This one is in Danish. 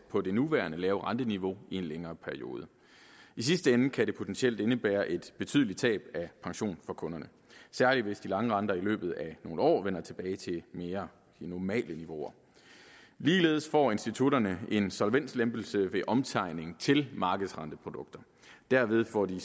på det nuværende lave renteniveau i en længere periode i sidste ende kan det potentielt indebære et betydeligt tab af pension for kunderne særlig hvis de lange renter i løbet af nogle år vender tilbage til mere normale niveauer ligeledes får institutterne en solvenslempelse ved omtegning til markedsrenteprodukter derved får de